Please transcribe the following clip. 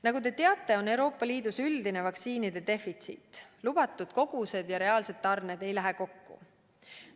Nagu te teate, on Euroopa Liidus üldine vaktsiinide defitsiit, lubatud kogused ja reaalsed tarned ei lähe kokku.